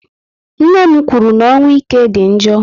Nne m kwụrụ na ọnwụ ike dị njọ